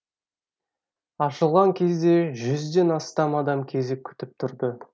ашылған кезде жүзден астам адам кезек күтіп тұрды